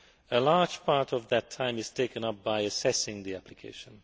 A large part of that time is taken up by assessing the application.